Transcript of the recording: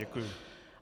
Děkuji.